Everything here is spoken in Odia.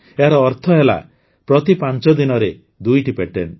ଏହାର ଅର୍ଥ ହେଲା ପ୍ରତି ୫ ଦିନରେ ୨ଟି ପେଟେଣ୍ଟ